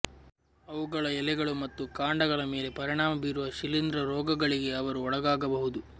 ಅವುಗಳ ಎಲೆಗಳು ಮತ್ತು ಕಾಂಡಗಳ ಮೇಲೆ ಪರಿಣಾಮ ಬೀರುವ ಶಿಲೀಂಧ್ರ ರೋಗಗಳಿಗೆ ಅವರು ಒಳಗಾಗಬಹುದು